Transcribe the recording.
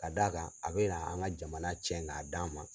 Ka d'a kan a be na an ka jamana cɛn k'a d'an ma